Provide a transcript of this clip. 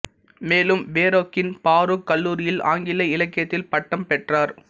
மேலும் ஃபெரோக்கின் ஃபாரூக் கல்லூரியில் ஆங்கில இலக்கியத்தில் பட்டம் பெற்றார்